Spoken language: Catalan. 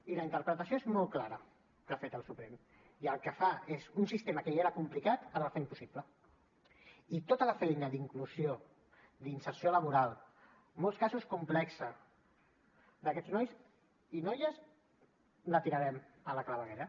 i la interpretació és molt clara que ha fet el suprem i el que fa és un sistema que ja era complicat ara el fa impossible i tota la feina d’inclusió d’inserció laboral en molts casos complexa d’aquests nois i noies la tirarem per la claveguera